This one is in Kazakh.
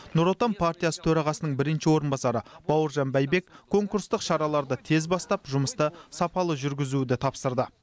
нұр отан партиясы төрағасының бірінші орынбасары бауыржан байбек конкурстық шараларды тез бастап жұмысты сапалы жүргізуді тапсырды